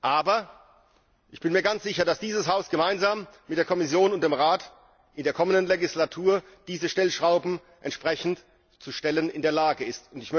Aber ich bin mir ganz sicher, dass dieses Haus gemeinsam mit der Kommission und dem Rat in der kommenden Legislatur diese Stellschrauben entsprechend zu stellen in der Lage ist.